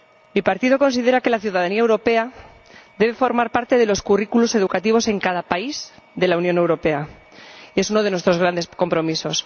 Mi partido considera que la ciudadanía europea debe formar parte de los currículos educativos en cada país de la Unión Europea, y este es uno de nuestros grandes compromisos.